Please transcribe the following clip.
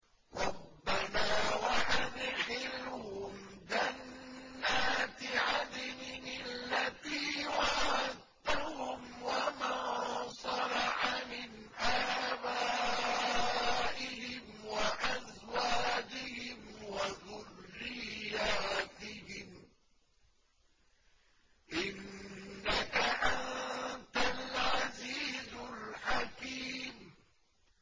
رَبَّنَا وَأَدْخِلْهُمْ جَنَّاتِ عَدْنٍ الَّتِي وَعَدتَّهُمْ وَمَن صَلَحَ مِنْ آبَائِهِمْ وَأَزْوَاجِهِمْ وَذُرِّيَّاتِهِمْ ۚ إِنَّكَ أَنتَ الْعَزِيزُ الْحَكِيمُ